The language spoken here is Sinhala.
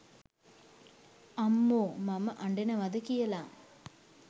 අම්මෝ මම අඩනවද කියල